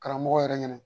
Karamɔgɔ yɛrɛ ɲɛnɛ